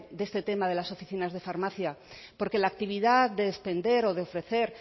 de este tema de las oficinas de farmacia porque la actividad de expender o de ofrecer